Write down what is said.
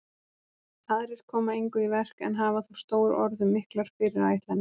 Aðrir koma engu í verk en hafa þó stór orð um miklar fyrirætlanir.